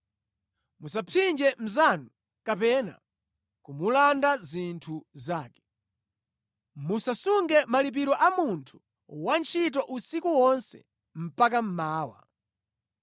“ ‘Musapsinje mnzanu kapena kumulanda zinthu zake. “ ‘Musasunge malipiro a munthu wantchito usiku wonse mpaka mmawa.